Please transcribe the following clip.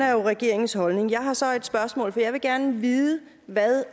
jo regeringens holdning jeg har så et spørgsmål for jeg vil gerne vide hvad